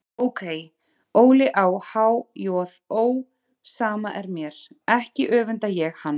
Ókei, Óli á há-joð-ó, sama er mér, ekki öfunda ég hann.